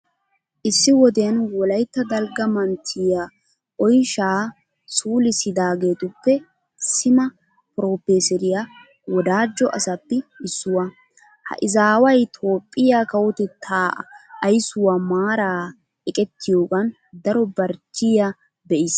Issi wodiyan wolaytta dalgga manttiya oyshaa suulissidaageetuppe sima piroofeeseriya wodaajjo asappi issuwa. Ha izaaway toophphiya kawotettaa aysuwa maaraa eqettiyogan daro barchchiya be'iis.